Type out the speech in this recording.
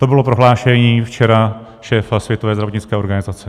To bylo prohlášení včera šéfa Světové zdravotnické organizace.